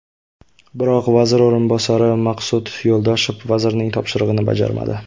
Biroq vazir o‘rinbosari Maqsud Yo‘ldoshev vazirning topshirig‘ini bajarmadi.